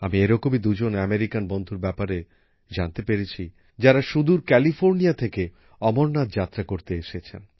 আমি এরকমই দুজন আমেরিকান বন্ধুর ব্যাপারে জানতে পেরেছি যারা সুদূর ক্যালিফোর্নিয়া থেকে অমরনাথ যাত্রা করতে এসেছেন